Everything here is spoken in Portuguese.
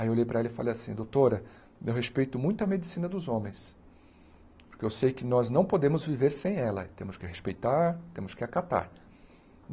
Aí eu olhei para ela e falei assim, doutora, eu respeito muito a medicina dos homens, porque eu sei que nós não podemos viver sem ela, temos que respeitar, temos que acatar.